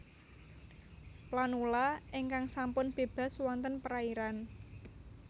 Planula ingkang sampun bébas wonten perairan